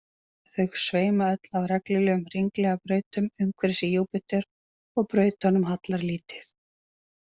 Þau sveima öll á reglulegum hringlaga brautum umhverfis Júpíter og brautunum hallar lítið.